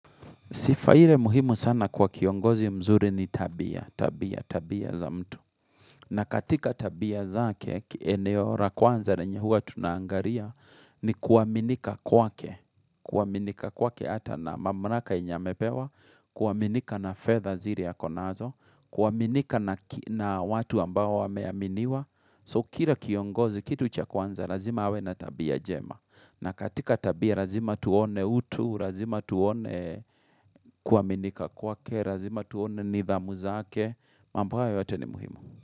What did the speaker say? Sifa ire muhimu sana kwa kiongozi mzuri ni tabia, tabia, tabia za mtu. Na katika tabia zake, eneo ra kwanza na yenye huwa tunaangaria ni kuaminika kwa ke. Kuaminika kwake hata na mamraka yenye amepewa, kuaminika na fedha zire akonazo, kuaminika na watu ambao wameaminiwa. So kira kiongozi, kitu cha kwanza, razima awe na tabia jema. Na katika tabia, razima tuone utu, razima tuone kuaminika kwake, razima tuone nidhamu zake, mambo hayo yote ni muhimu.